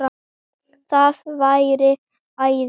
Það væri æði